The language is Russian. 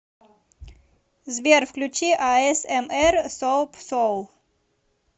сбер включи а эс эм эр соап соул